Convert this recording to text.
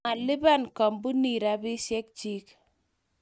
malipan kampunii rupiskek chiin